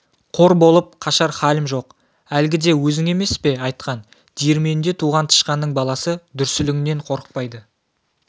қор болып қашар халім жоқ әлгіде өзің емес пе айтқан диірменде туған тышқанның баласы дүрсіліңнен қорықпайды